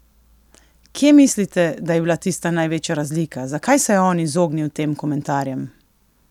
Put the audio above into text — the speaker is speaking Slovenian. Kje mislite, da je bila tista največja razlika, zakaj se je on izognil tem komentarjem?